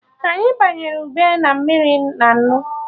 Anyị banyere ube na mmiri na nnu